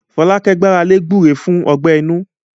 Fọlákẹ́ gbára lé gbúre fún ọgbẹ inú